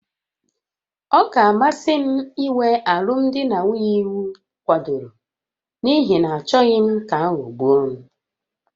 Ọ ga-amasị m inwe alụmdi na nwunye iwu kwadoro n'ihi na achọghị m ka aghọgbuo m